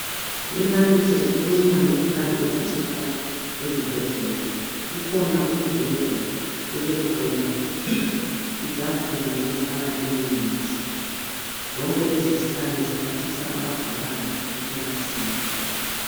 Umfanekiso ukhuluma ngezikhali ezitholakala esibhedlela, kukhona umbheda kubekhona itafula lokufaka imithi zonke lezi zikhali ziphathisa abagulayo ekulatshweni.